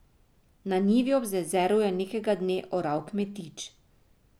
Na njivi ob jezeru je nekega dne oral kmetič.